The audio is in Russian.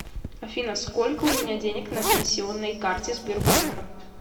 афина сколько у меня денег на пенсионной карте сбербанка